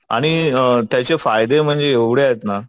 आणि त्याचे फायदे म्हणजे एवढे आहेत ना.